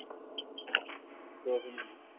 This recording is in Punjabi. ਕੁਝ ਵੀ ਨਹੀਂ